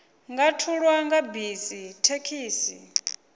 nga thulwa nga bisi thekhisi